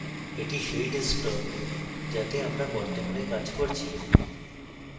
that সেই ডেস্কটপে যাতে আমরা বর্তমানে কাজ করছি